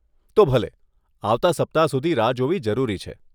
તો ભલે, આવતાં સપ્તાહ સુધી રાહ જોવી જરૂરી છે.